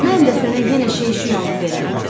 Mən də sənə yenə şey şüy alıb verərəm.